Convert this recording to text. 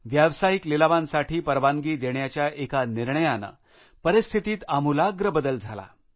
व्यवसायिक लिलावांसाठी परवानगी देण्याच्या एका निर्णयाने परिस्थितीत आमूलाग्र बदल झाला